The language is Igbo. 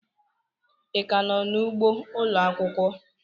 Ị ka nọ n'ugbo ụlọ akwụkwọ?